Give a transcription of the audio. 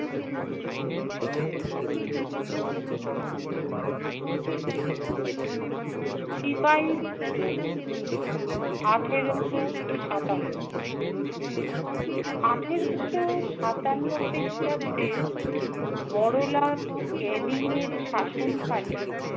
সিপাহী বিদ্ৰোহ - আঠেরোশো সাতান্ন। আঠেরোশো সাতান্ন খ্রিস্টাব্দে বড়লাট ক্যানিং এর শাসনকালে